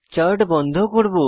chart বন্ধ করব